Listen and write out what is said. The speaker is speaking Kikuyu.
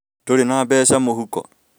Ndurĩ na mbeca mũhuko